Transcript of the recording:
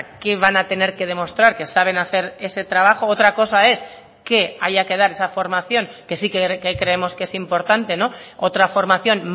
qué van a tener que demostrar que saben hacer ese trabajo otra cosa es que haya que dar esa formación que sí que creemos que es importante otra formación